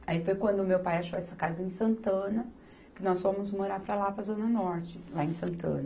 Aí foi quando meu pai achou essa casa em Santana, que nós fomos morar para lá, para a Zona Norte, lá em Santana.